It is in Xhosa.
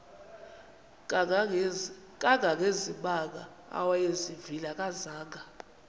kangangezimanga awayezivile akazanga